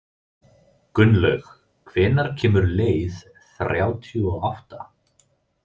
Gunnlaug, hvenær kemur leið þrjátíu og átta?